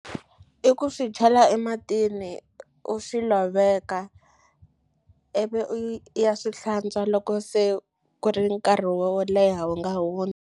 I ku swi chela ematini u swi loveka ivi i ya swi hlantswa loko se ku ri nkarhi wo leha wu nga hundza.